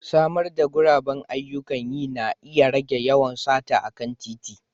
Samar da guraben ayyukan yi na iya rage yawan sata a kan titi.